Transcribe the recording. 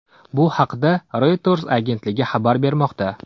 Bu haqda Reuters agentligi xabar bermoqda.